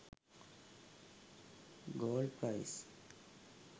gold price